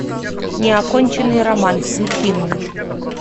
неоконченный роман включи мне